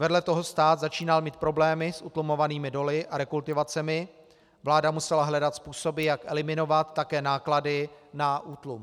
Vedle toho stát začínal mít problémy s utlumovanými doly a rekultivacemi, vláda musela hledat způsoby, jak eliminovat také náklady na útlum.